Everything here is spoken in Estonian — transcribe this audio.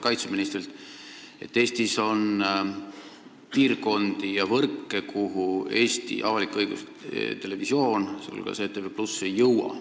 Pean silmas seda, et Eestis on piirkondi ja võrke, kuhu avalik-õiguslik televisioon, sh ETV+ ei jõua.